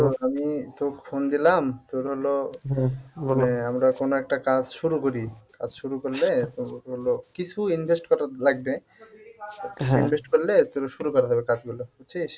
আমি তোকে phone দিলাম তোর হল মানে আমরা কোন একটা কাজ শুরু করি কাজ শুরু করলে তোর হল কিছু invest করা লাগবে invest করলে তোর শুরু করা যাবে কাজগুলো বুঝছিস?